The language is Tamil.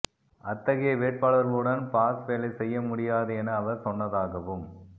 அத்தகைய வேட்பாளர்களுடன் பாஸ் வேலை செய்ய முடியாது என அவர் சொன்னதாகவும்